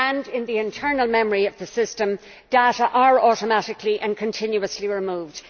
in the internal memory of the system, data are automatically and continuously removed